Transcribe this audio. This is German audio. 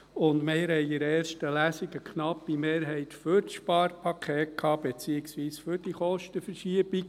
Wir hatten in der ersten Lesung eine knappe Mehrheit für das Sparpaket, beziehungsweise für diese Kostenverschiebung.